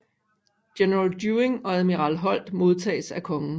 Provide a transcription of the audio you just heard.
General Dewing og admiral Holt modtages af kongen